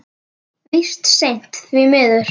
Víst seint, því miður.